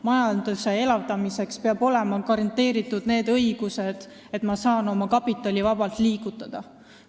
Majanduse elavdamiseks peab olema garanteeritud, et saab oma kapitali vabalt liigutada.